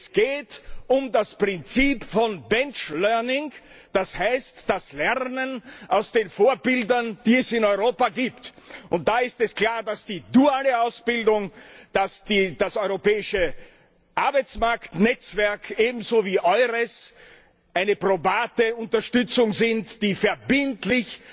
Es geht um das Prinzip von Benchlearning, das heißt das Lernen von den Vorbildern, die es in Europa gibt. Da ist es klar, dass die duale Ausbildung, das europäische Arbeitsmarktnetzwerk ebenso wie EURES eine probate Unterstützung sind, die verbindlich